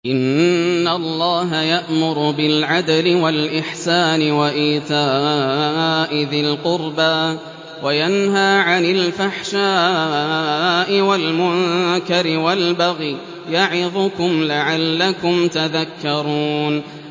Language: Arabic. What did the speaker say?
۞ إِنَّ اللَّهَ يَأْمُرُ بِالْعَدْلِ وَالْإِحْسَانِ وَإِيتَاءِ ذِي الْقُرْبَىٰ وَيَنْهَىٰ عَنِ الْفَحْشَاءِ وَالْمُنكَرِ وَالْبَغْيِ ۚ يَعِظُكُمْ لَعَلَّكُمْ تَذَكَّرُونَ